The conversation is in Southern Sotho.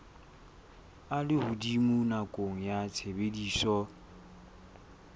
a lehodimo nakong ya tshebediso